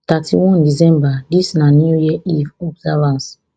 thirty-one december dis na new year eve observance